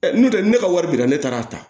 n'o tɛ ne ka wari dira ne taara a ta